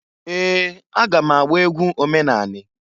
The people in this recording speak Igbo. Ee! Aga m agba egwu omenanị.